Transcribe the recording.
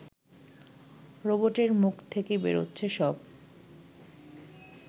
রবোটের মুখ থেকে বেরোচ্ছে সব